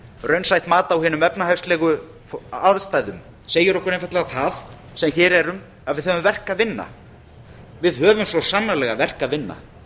raunsætt mat á hinum efnahagslegu aðstæðum segir okkur einfaldlega það sem hér erum að við höfum verk að vinna við höfum svo sannarlega verk að vinna